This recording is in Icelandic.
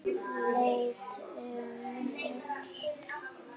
Leit um öxl.